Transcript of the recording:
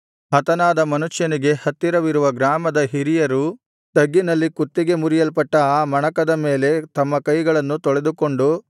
ಹತನಾದ ಮನುಷ್ಯನಿಗೆ ಹತ್ತಿರವಿರುವ ಗ್ರಾಮದ ಹಿರಿಯರು ತಗ್ಗಿನಲ್ಲಿ ಕುತ್ತಿಗೆ ಮುರಿಯಲ್ಪಟ್ಟ ಆ ಮಣಕದ ಮೇಲೆ ತಮ್ಮ ಕೈಗಳನ್ನು ತೊಳೆದುಕೊಂಡು